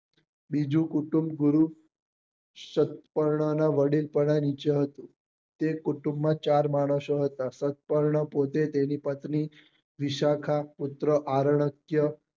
બીજું કુટુંબ ગુરુ સત્કર્ણ નાં વડીલ હતું તે કુટુંબ માં ચાર માણસો હતા સત્કર્ણ પોતે તેની પત્ની વિશાખા પુત્ર આરન્ક્ય